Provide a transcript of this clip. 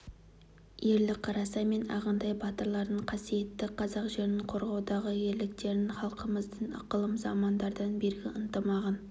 ерлік қарасай мен ағынтай батырлардың қасиетті қазақ жерін қорғаудағы ерліктерін халқымыздың ықылым замандардан бергі ынтымағын